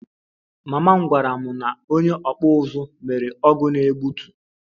Mama m gwara m na onye okpu uzu mere ọgụ na egbutu